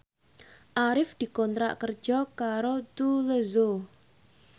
Arif dikontrak kerja karo Tous Les Jour